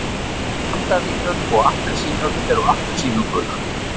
mandarínur og appelsínur eru appelsínugular